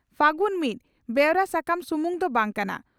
ᱯᱷᱟᱹᱜᱩᱱ ᱢᱤᱫ ᱵᱮᱣᱨᱟ ᱥᱟᱠᱟᱢ ᱥᱩᱢᱩᱝ ᱫᱚ ᱵᱟᱝ ᱠᱟᱱᱟ